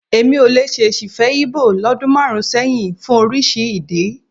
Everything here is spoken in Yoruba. Èmi ò lè ṣèṣì fẹ́ Íbò lọ́dún márùn-ún sẹ́yìn fún oríṣi ìdí.